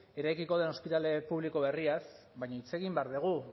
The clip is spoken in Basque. eraikiko den ospitale publiko berriaz baina hitz egin behar dugu